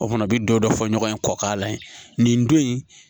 O fana bɛ dɔ dɔ fɔ ɲɔgɔn ye kɔ k'a la yen nin don in